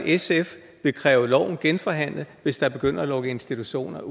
sf vil kræve loven genforhandlet hvis der begynder at lukke institutioner